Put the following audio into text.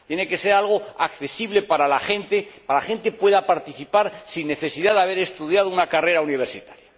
Tiene que ser algo accesible para la gente, para que pueda participar sin necesidad de haber estudiado una carrera universitaria.